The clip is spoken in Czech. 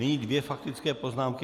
Nyní dvě faktické poznámky.